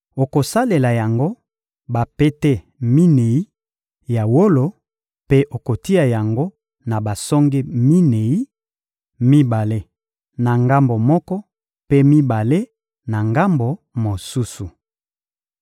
Okosalela yango bapete minei ya wolo mpe okotia yango na basonge minei: mibale na ngambo moko, mpe mibale na ngambo mosusu.